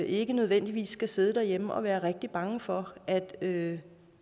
ikke nødvendigvis skal sidde derhjemme og være rigtig bange for at at